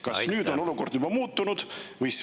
Kas nüüd on olukord juba muutunud?